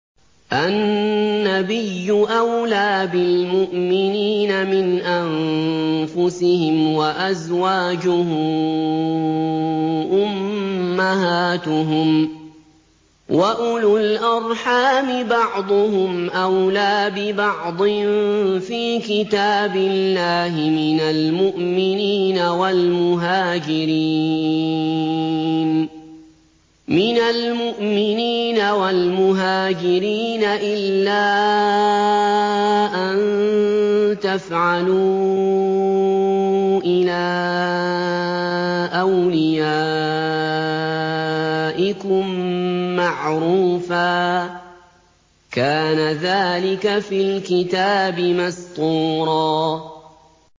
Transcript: النَّبِيُّ أَوْلَىٰ بِالْمُؤْمِنِينَ مِنْ أَنفُسِهِمْ ۖ وَأَزْوَاجُهُ أُمَّهَاتُهُمْ ۗ وَأُولُو الْأَرْحَامِ بَعْضُهُمْ أَوْلَىٰ بِبَعْضٍ فِي كِتَابِ اللَّهِ مِنَ الْمُؤْمِنِينَ وَالْمُهَاجِرِينَ إِلَّا أَن تَفْعَلُوا إِلَىٰ أَوْلِيَائِكُم مَّعْرُوفًا ۚ كَانَ ذَٰلِكَ فِي الْكِتَابِ مَسْطُورًا